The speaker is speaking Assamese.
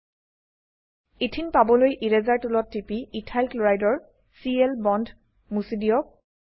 এথেনে ইথিন পাবলৈ এৰাছেৰ টুলত টিপি ইথাইল ক্লোৰাইডৰ চিএল বন্দ মুছি দিয়ক